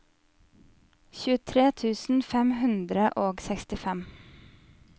tjuetre tusen fem hundre og sekstifem